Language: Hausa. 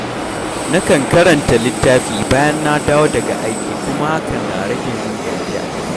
Nakan karanta littafi bayan na dawo daga aiki kuma hakan na rage min gajiya.